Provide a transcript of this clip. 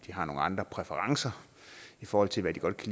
har nogle andre præferencer i forhold til hvad de godt